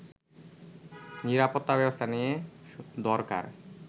নিরাপত্তা ব্যবস্থা নেয়া দরকার